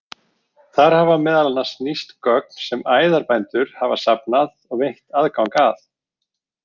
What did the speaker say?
Þar hafa meðal annars nýst gögn sem æðarbændur hafa safnað og veitt aðgang að.